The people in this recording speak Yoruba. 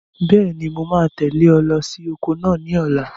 Bẹ́ẹ̀ni, mo máa tẹ̀lé ọ lọ sí oko náà ní ọ̀la.